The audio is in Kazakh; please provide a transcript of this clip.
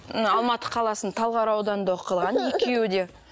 мына алматы қаласының талғар ауданында оқылған екеуі де